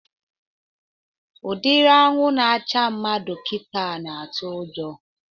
Udiri anwụ na-acha mmadụ kịta na-atụ ụjọ